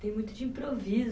Tem muito de improviso.